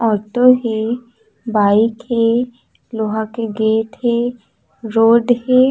Auto हे bike हे लोहा के गेट हे रोड हे।